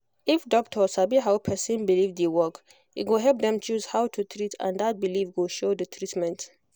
if doctor sabi how person believe dey work e go help dem choose how to treat and that belief go show the treatment